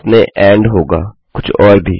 आपने एंड होगा कुछ और भी